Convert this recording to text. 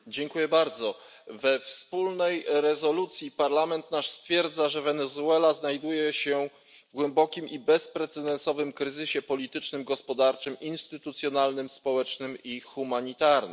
Pani Przewodnicząca! We wspólnej rezolucji Parlament nasz stwierdza, że Wenezuela znajduje się w głębokim i bezprecedensowym kryzysie politycznym, gospodarczym, instytucjonalnym, społecznym i humanitarnym.